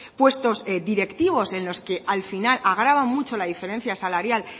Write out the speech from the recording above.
puestos directivos en los que al final agrava mucho la diferencia salarial